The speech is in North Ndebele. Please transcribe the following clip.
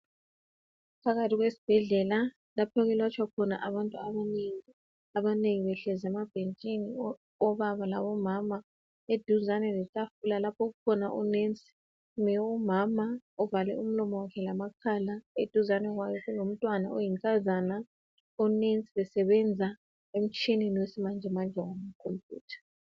Phakathi kwesibhedlela lapho okulatshwa khona abantu abanengi. Abanengi behlezi emabhentshini obaba labomama eduzane letafula lapho okukhona unesi kumbe umama ovale umlomo wakhe lamakhala eduzane kwakhe kulomntwana oyinkazana onesi besenza emtshineni wesimanjemanje wamakhompiyutha.